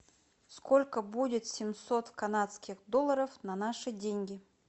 сколько будет семьсот канадских долларов на наши деньги